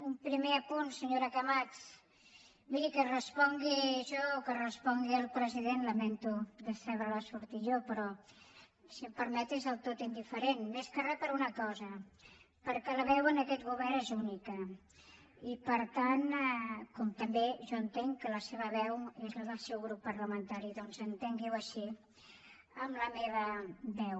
un primer apunt senyora camats miri que respongui jo o que respongui el president lamento decebre la sortir jo però si em permet és del tot indiferent més que res per una cosa perquè la veu en aquest govern és única i com també jo entenc que la seva veu és la del seu grup parlamentari doncs entengui ho així en la meva veu